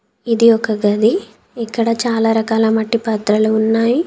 ఇది ఒక గది ఇక్కడ చాలా రకాల మట్టి పాత్రలు ఉన్నాయి.